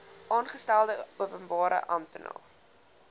aangestelde openbare amptenaar